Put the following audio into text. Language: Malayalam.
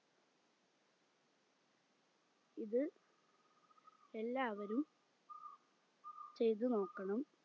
ഇത് എല്ലാവരും ചെയ്ത് നോക്കണം